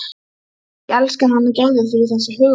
Allt sem útréttingar heita var eitur í beinum okkar.